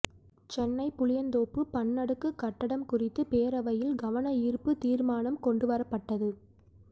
சென்னை புளியந்தோப்பு பன்னடுக்கு கட்டடம் குறித்து பேரவையில் கவன ஈர்ப்பு தீர்மானம் கொண்டுவரப்பட்டது